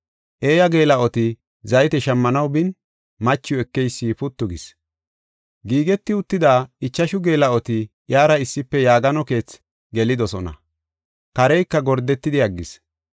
Eeya geela7oti zayte shammanaw bin, machiw ekeysi puttu gis. Giigeti uttida ichashu geela7oti iyara issife yaagano keethi gelidosona; kareyka gordeti aggis.